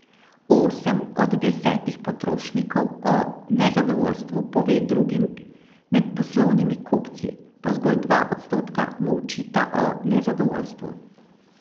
Osem od desetih potrošnikov o nezadovoljstvu pove drugim, med poslovnimi kupci pa zgolj dva odstotka molčita o nezadovoljstvu.